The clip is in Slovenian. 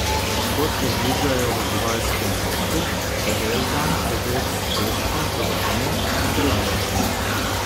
Kot obljubljajo v živalskem vrtu, bo ves dan prežet s pestrim programom in delavnicami.